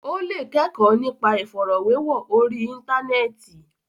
Ó lè kẹ́kọ̀ọ́ nípa ìfọ̀rọ̀wérọ̀ orí Íńtánẹ́ẹ̀tì.